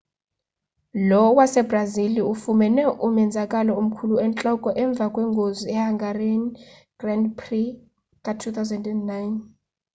lo wasebrazili ufumene umenzakalo omkhulu entloko emveni kwengozi yehungarian grand prix ka-2009